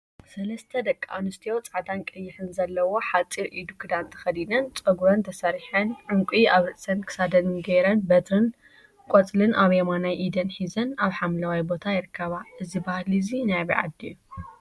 ሰለስተ ደቂ አንስትዮ ፃዕዳን ቀይሕን ዘለዎ ሓፂር ኢዱ ክዳን ተከዲነን፤ ፀጉረን ተሰሪሐን ዕንቊ አብ ርእሰንን ክሳደን ገይረን በትሪን ቆፅሊን አብ የማናይ ኢደን ሒዘን አብ ሓምለዋይ ቦታ ይርከባ፡፡ እዚ ባህሊ እዚ ናይ አበይ ዓዲ እዩ?